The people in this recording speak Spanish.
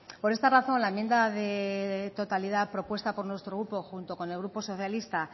por esta razón la enmienda de totalidad propuesta por nuestro grupo junto con el grupo socialista